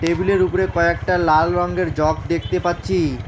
টেবিলের উপরে কয়েকটা লাল রঙ্গের জগ দেখতে পাচ্ছি।